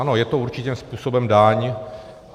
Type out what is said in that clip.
Ano, je to určitým způsobem daň.